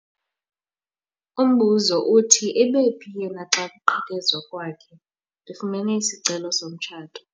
Umbuzo uthi ebephi yena xa kuqhekezwa kwakhe? ndifumene isicelo somtshato